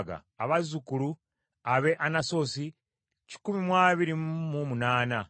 abazzukulu ab’e Anasosi kikumi abiri mu munaana (128),